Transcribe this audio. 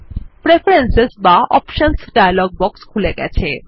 preference বা options dialogue box খুলে গেছে